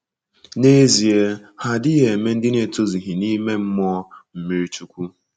N’ezie, ha adịghị eme ndị na-etozughi n'ime mmụọ mmiri chukwu.